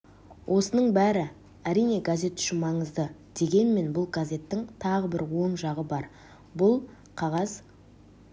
осының бәрі әрине газет үшін маңызды дегенмен бұл газеттің тағы бір оң жағы бар бұл қағаз